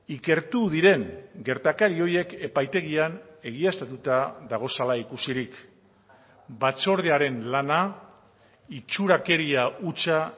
ikertu diren gertakari horiek epaitegian egiaztatuta daudela ikusirik batzordearen lana itxurakeria hutsa